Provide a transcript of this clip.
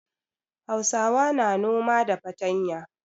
Hausawa na noma da fatanya.